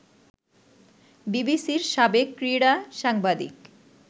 বিবিসির সাবেক ক্রীড়া সাংবাদিক